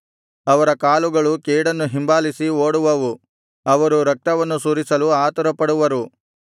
ಅವರ ಕಾಲುಗಳು ಕೇಡನ್ನು ಹಿಂಬಾಲಿಸಿ ಓಡುವವು ಅವರು ರಕ್ತವನ್ನು ಸುರಿಸಲು ಆತುರಪಡುವರು